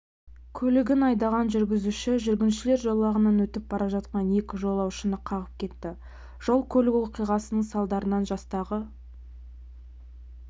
көлігін айдаған жүргізуші жүргіншілер жолағынан өтіп бара жатқан екі жолаушыны қағып кетті жол-көлік оқиғасының салдарынан жастағы